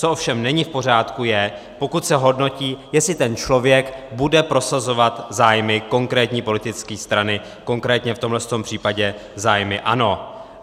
Co ovšem není v pořádku, je, pokud se hodnotí, jestli ten člověk bude prosazovat zájmy konkrétní politické strany, konkrétně v tomto případě zájmy ANO.